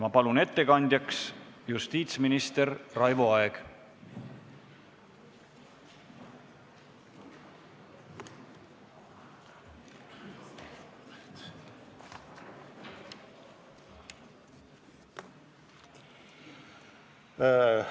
Ma palun ettekandjaks justiitsminister Raivo Aegi!